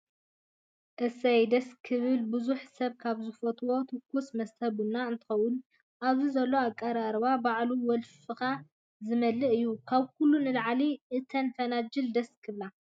እሰይ! ደስ ክብሉ ብዙሕ ሰብ ካብ ዝፈትዎ ትኹስ መስተ ቡና እንትከውን ኣብዚ ዘሎ ኣቀራርባ ባዕሉ ወልፊካ ዝምልእ እዩ። ካብ ኩሉ ንላዕሊ እተን ፈናጅል ደስ ክብላ።